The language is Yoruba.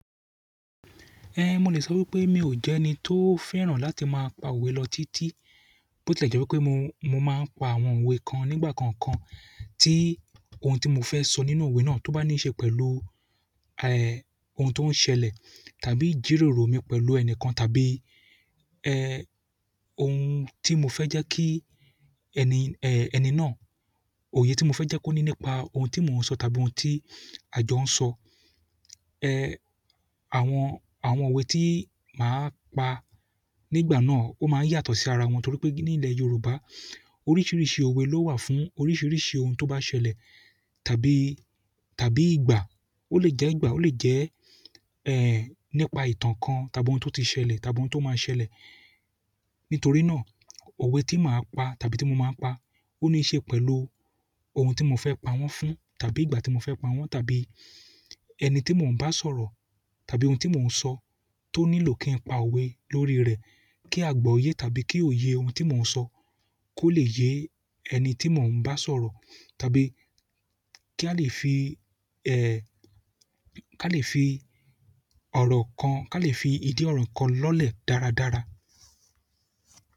Ehn mo le so wípé mi o je ẹni to fẹ́ràn láti ma pa owe lọ titi bo ti e je wípé mo ma n pa àwọn owe kan nígbà kan kan ti ohun ti mo fẹ sọ nínú owe náà to ba ni ṣe pẹ̀lú eh, ohun tó ń ṣẹlẹ̀ tàbí ijíròrò mi pẹ̀lú ẹni kan tàbí, eh, ohun tí mo fẹ́ jẹ́ kí ẹni, eh, ẹni náà òye tí mo fẹ́ jẹ́ kó ní nípa ohun tí mò ń sọ tàbí ohun tí àjọ́ ń sọ. Eh, àwọn, àwọn òwe tí màá pa nígbà náà ó máa ń yàtọ̀ sí ara wọn torí pé ní ilẹ̀ Yorùbá oríṣiríṣi òwe ló wà fún oríṣiríṣi ohun tó bá ṣẹlẹ̀ tàbí, tàbí ìgbà. Ó lè jẹ́ ìgbà, ó lè jẹ́, eh, nípa ìtàn kan tàbí ohun tó ti ṣẹlẹ̀ tàbí ohun tó máa ṣẹlẹ̀. Nítorí náà òwe tí màá pa tàbí tí mo máa ń pa ó ní í ṣe pẹ̀lú ohun tí mo fẹ́ pa wọ́n fún tàbí ìgbà tí mo fẹ́ pa wọ́n tàbí ẹni tí mò ń bá sọ̀rọ̀ tàbí ohun tí mò ń sọ toni lo ki n pa owe lórí rẹ ki agbọye tàbí ki oye ohun ti mo n sọ ko le ye ẹni ti mo n ba sọ̀rọ̀ tàbí ki a le fi, ki a le fi ọrọ kan, ki a le fi idi ọrọ kan lọlẹ dáradára.